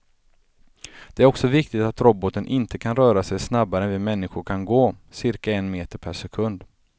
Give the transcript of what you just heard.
Det är också viktigt att roboten inte kan röra sig snabbare än vi människor kan gå, cirka en meter per sekund.